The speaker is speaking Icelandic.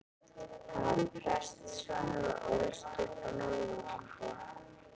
Hann var prestssonur og ólst upp á Norðurlandi.